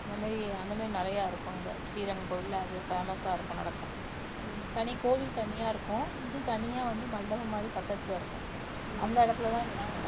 அந்த மாதிரி அந்த மாதிரி நிறைய இருக்கும் அங்க ஸ்ரீரங்கம் கோவில்ல அது famous ஆ இருக்கும் நடக்கும் தனி கோவில் தனியா இருக்கும் இது தனியா வந்து மண்டபம் மாதிரி பக்கத்துல இருக்கும் அந்த இடத்துலதான் இதெல்லாம் நடக்கும்